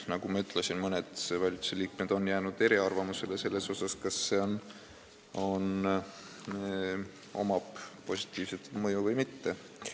Nagu ma ütlesin, mõned valitsusliikmed on jäänud eriarvamusele selles, kas sel on positiivne mõju või mitte.